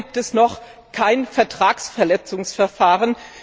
Warum gibt es noch kein Vertragsverletzungsverfahren?